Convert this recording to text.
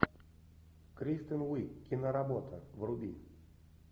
кристен уиг киноработа вруби